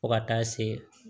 Fo ka taa se